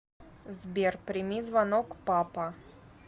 сбер прими звонок папа